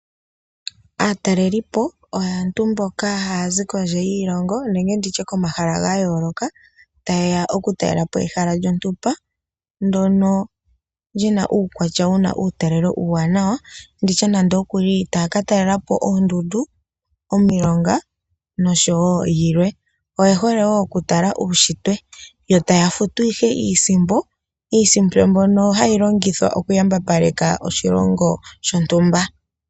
Aatalelipo oyo aantu mboka haya zi kondje yiilongo nenge ndi tye komahala ga yooloka taye ya oku talelepo ehala lyontumba, ndono lyina uukwatya wuna uutalelo uuwaanawa nditye nande ookuli taa ka talela po oondundu ,omilonga noshowo yilwe. Oye hole wo okutala uushitwe yo taya futu ihe iisimpo. Iisimpo mbyono hayi longithwa okuyambapaleka oshilongo shontumba.